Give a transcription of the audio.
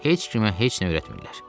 Heç kimə heç nə öyrətmirlər.